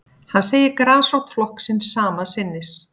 Hann segir grasrót flokksins sama sinnis